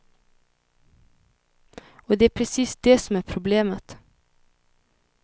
Och det är precis det som är problemet.